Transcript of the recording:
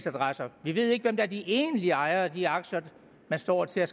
adresser vi ved ikke hvem der er de egentlige ejere af de aktier man står til at